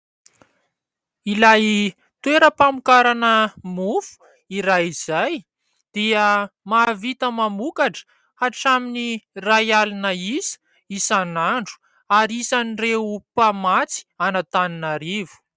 Ilay toeram-pamokarana mofo iray izay dia mahavita mamokatra hatramin'ny iray alina isa isan'andro ary isan'ireo mpamatsy an'Antananarivo.